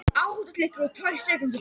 Segist vera kominn til að vera.